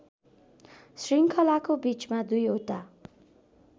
श्रृङ्खलाको बीचमा दुईवटा